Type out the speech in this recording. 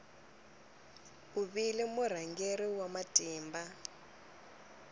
u vile murhangeri wa matimba